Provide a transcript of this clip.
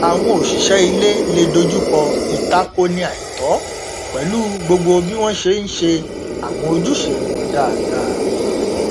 àwọn òṣìṣẹ ilé le dojúkọ ìtakoni àìtọ pẹlú gbogbo bí wọn ṣe n ṣe àwọn ojúṣe wọn dáadáa